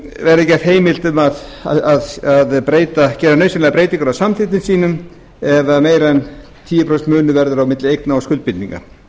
verði gert heimilt að gera nauðsynlegar breytingar á samþykktum sínum ef meira en tíu prósent munur verður á milli eigna og skuldbindinga